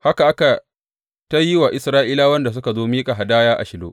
Haka aka yi ta yi wa Isra’ilawan da suka zo miƙa hadaya a Shilo.